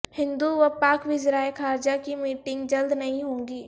ہند و پاک وزرائے خارجہ کی میٹنگ جلد نہیں ہوگی